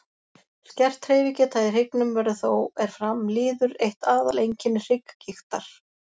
skert hreyfigeta í hryggnum verður þó er fram líður eitt aðal einkenni hrygggigtar